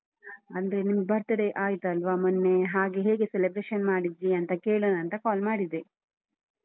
ಅಂದ್ರೆ ನಿಮ್ birthday ಆಯ್ತಲ್ವಾ ಮೊನ್ನೆ ಹಾಗೆ ಹೇಗೆ celebration ಮಾಡಿದ್ರಿಯಂತ ಕೇಳೋಣ ಅಂತ call ಮಾಡಿದೆ.